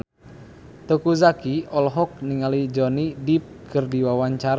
Teuku Zacky olohok ningali Johnny Depp keur diwawancara